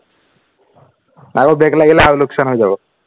আৰু back লাগিলে আৰু লোকচান হৈ যাব